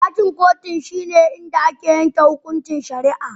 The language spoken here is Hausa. Dakin kotun shine inda ake yanke hukuncin shari'a.